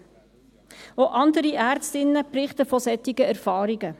Auch andere Ärztinnen berichten von solchen Erfahrungen.